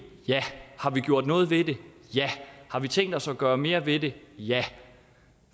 ja har vi gjort noget ved det ja har vi tænkt os at gøre mere ved det ja